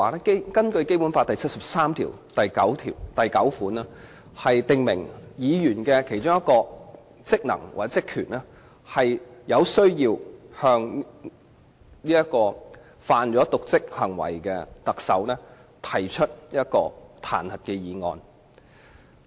根據《基本法》第七十三條第九項，如果特首犯有瀆職行為，議員的其中一項職能或職權，是向犯有瀆職行為的特首提出彈劾議案。